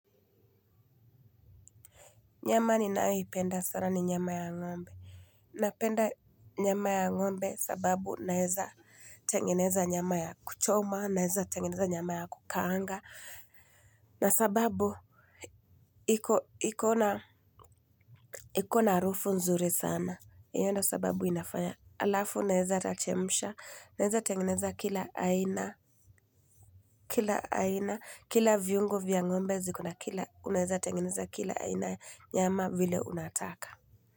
Nyama ninayoipenda sana ni nyama ya ng'ombe. Napenda nyama ya ng'ombe sababu naeza tengeneza nyama ya kuchoma, naeza tengeneza nyama ya kukaanga. Na sababu iko na harufu nzuri sana. Hi ndio sababu inafanya alafu naeza hata chemsha, naeza tengeneza kila aina, kila aina, kila viungo vya ng'ombe ziko na kila, unaeza tengeneza kila aina nyama vile unataka.